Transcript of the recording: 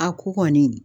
A ko kɔni